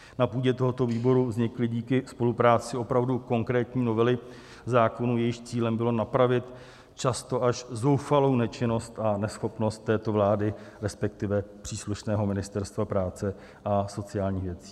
Na půdě tohoto výboru vznikly díky spolupráci opravdu konkrétní novely zákonů, jejichž cílem bylo napravit často až zoufalou nečinnost a neschopnost této vlády, respektive příslušného Ministerstva práce a sociálních věcí.